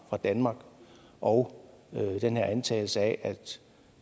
fra danmark og den her antagelse af